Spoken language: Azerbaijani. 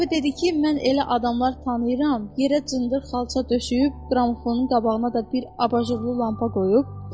Bir dəfə dedi ki, mən elə adamlar tanıyıram, yerə cındır xalça döşəyib, qramofonun qabağına da bir abajurlu lampa qoyub.